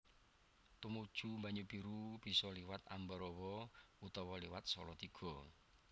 Tumuju Banyubiru bisa liwat Ambarawa utawa liwat Salatiga